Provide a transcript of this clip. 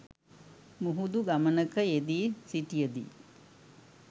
මුහුදු ගමනක යෙදී සිටියදී